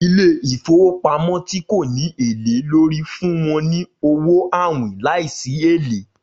Ilé-ìfowópamọ́ ti ko ni ele lórí fun wọn ni awọn awin laisi ele